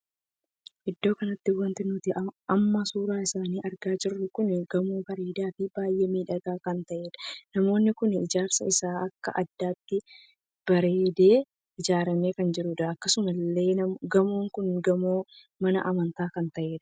Iddoo kanatti wanti nuti amma suuraa isaanii argaa jirru kun gamoo bareedaa fi baay'ee miidhagaa kan tahedha. gamoonni kun ijaarsi isaa akka addaatti bareedee ijaaramee kan jirudha. akkasuma illee gamoon kun gamoo mana amantaa kan tahedha.